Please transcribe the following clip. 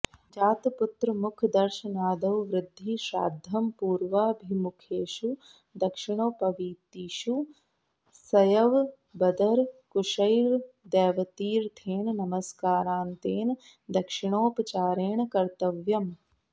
जातपुत्रमुखदर्शनादौ वृद्धि श्राद्धं पूर्वाभिमुखेषु दक्षिणोपवीतिषु सयवबदरकुशैर्देवतीर्थेन नमस्कारान्तेन दक्षिणोपचारेण कर्तव्यम्